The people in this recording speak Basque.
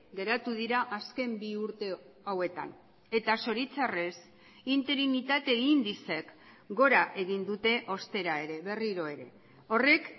geratu dira azken bi urte hauetan eta zoritxarrez interinitate indizeek gora egin dute ostera ere berriro ere horrek